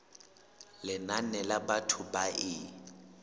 lenane la batho ba e